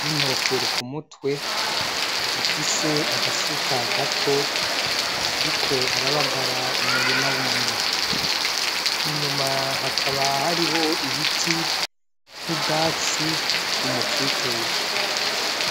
n'inkofero ku mutwe, afise agasuka gato ariko arabagara umurima wiwe, inyuma hakaba hariho ibiti n'ubwatsi b'umukikuje.